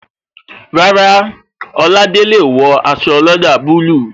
Rárá, Oladele o wo aṣọ ọlọ́dà bulu